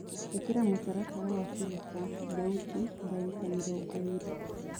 ĩkĩra mũtaratara wa kũrũta thaũti dagĩka mĩrongoĩrĩ